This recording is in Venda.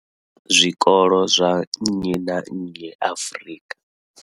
zwikolo zwa nnyi na nnyi Afrika.